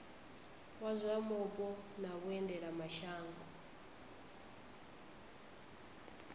wa zwa mupo na vhuendelamshango